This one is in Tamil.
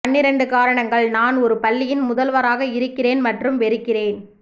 பன்னிரண்டு காரணங்கள் நான் ஒரு பள்ளியின் முதல்வராக இருக்கிறேன் மற்றும் வெறுக்கிறேன்